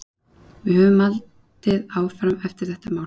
Við höfum haldið áfram eftir þetta mál.